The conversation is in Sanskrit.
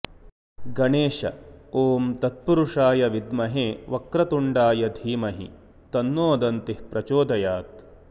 गणेश ॐ तत्पुरुषाय विद्महे वक्रतुण्डाय धीमहि तन्नो दन्तिः प्रचोदयात्